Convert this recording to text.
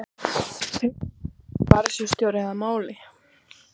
Tryggvason sparisjóðsstjóra að máli.